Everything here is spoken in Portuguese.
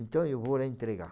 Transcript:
Então, eu vou lá entregar.